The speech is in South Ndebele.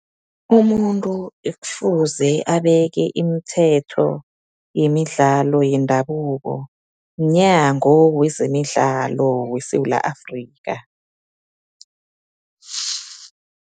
Umuntu ekufuze abeke imithetho yemidlalo yendabuko, Mnyango wezeMidlalo weSewula Afrika.